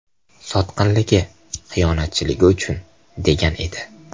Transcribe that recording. Sotqinligi, xiyonatchiligi uchun”, degan edi.